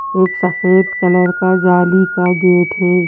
एक सफेद कलर का जाली का गेट है।